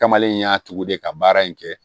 Kamalen in y'a tugu de ka baara in kɛ